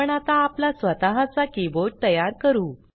आपण आता आपला स्वतःच्या कीबोर्ड तयार करू